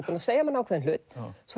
búin að segja manni ákveðinn hlut svo